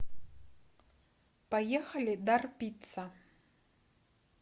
поехали дар пицца